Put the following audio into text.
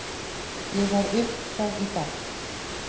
Ég var upp frá í dag.